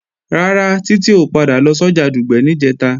Rárá, Títí ò padà lọ sọ́jà Dùgbẹ̀ níjẹ̀ta